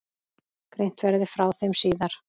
Greint verði frá þeim síðar.